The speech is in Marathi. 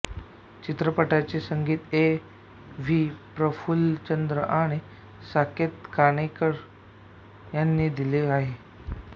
चित्रपटाचे संगीत ए व्ही प्रफुल्लचंद्र आणि साकेत कानेटकर यांनी दिले आहे